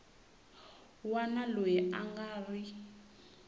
wana loyi a nga ri